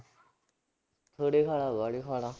ਥੋੜ੍ਹੇ ਖਾ ਲਾ ਬਾਹਲੇ ਖਾ ਲਾ